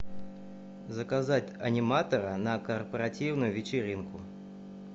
заказать аниматора на корпоративную вечеринку